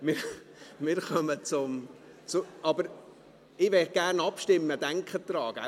Ich möchte gerne abstimmen, denken Sie daran.